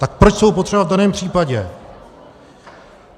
Tak proč jsou potřeba v daném případě?